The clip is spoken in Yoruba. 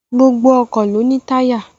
Gbogbo ọkọ̀ ló ní táyà